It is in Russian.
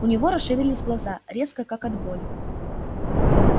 у него расширились глаза резко как от боли